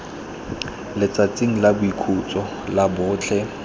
letsatsing la boikhutso la botlhe